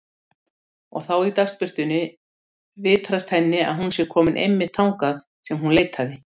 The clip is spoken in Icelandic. Og þá í dagsbirtunni vitrast henni að hún sé komin einmitt þangað sem hún leitaði.